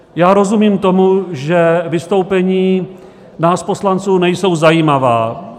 Já rozumím tomu, že vystoupení nás poslanců nejsou zajímavá.